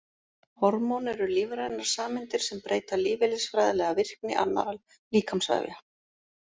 Hormón eru lífrænar sameindir sem breyta lífeðlisfræðilega virkni annarra líkamsvefja.